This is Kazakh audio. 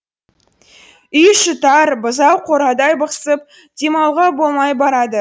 үй іші тар бұзау қорадай бықсып демалуға болмай барады